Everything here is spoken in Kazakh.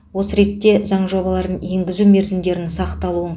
осы ретте заң жобаларын енгізу мерзімдерін сақталуын